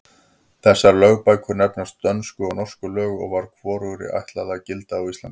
Þessar lögbækur nefnast Dönsku og Norsku lög og var hvorugri ætlað að gilda á Íslandi.